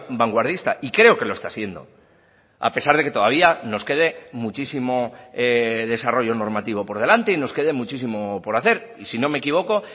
vanguardista y creo que lo está siendo a pesar de que todavía nos quede muchísimo desarrollo normativo por delante y nos quede muchísimo por hacer y si no me equivoco